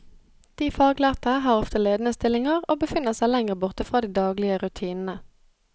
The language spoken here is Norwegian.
De faglærte har ofte ledende stillinger og befinner seg lengre borte fra de daglige rutinene.